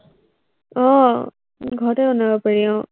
আহ ঘৰতে বনাব পাৰি আহ